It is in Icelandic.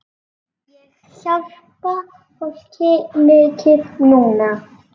Ég hjálpa fólki mikið núna.